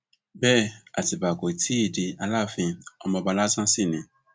bẹẹ àtibá kò tí ì di aláàfin ọmọọba lásán sí ni